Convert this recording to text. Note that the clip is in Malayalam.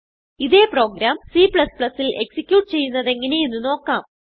ഇതേ പ്രോഗ്രാം c ൽ ഔട്ട്പുട്ട് ചെയ്യുന്നതെങ്ങനെ എന്ന് നോക്കാം